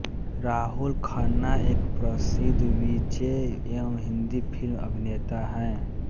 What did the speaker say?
राहुल खन्ना एक प्रसिद्ध V J एवं हिन्दी फिल्म अभिनेता हैं